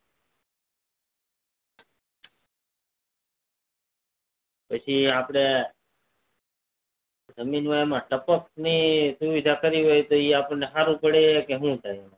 પછી આપડે જમીન માં ટપક ની સુવિધા કરી હોય એ સારું પડે કે શું થાય